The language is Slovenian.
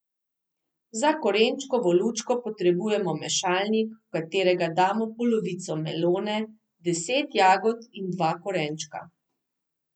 Za korenčkovo lučko potrebujemo mešalnik, v katerega damo polovico melone, deset jagod in dva korenčka.